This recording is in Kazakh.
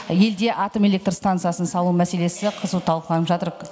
елде атом электр станциясын салу мәселесі қызу талқыланып жатыр